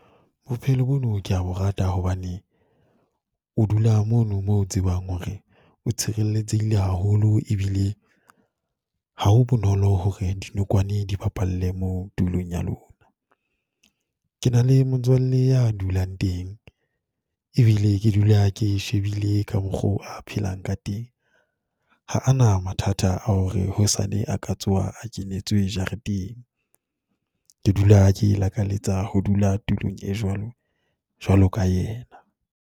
Bophelo bono ke ya bo rata hobane, o dula mono moo tsebang hore o tshirelletsehile haholo, e bile ha ho bonolo hore dinokwane di bapalle moo tulong ya lona. Ke na le motswalle ya dulang teng, e bile ke dula ke shebile ka mokgo a phelang ka teng. Ha a na mathata a hore hosane a ka tsoha a kenetswe jareteng, ke dula ke lakaletsa ho dula tulong e jwalo, jwalo ka yena.